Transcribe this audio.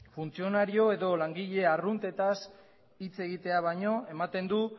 funtzionario edo langile arruntetaz hitz egitea baino ematen du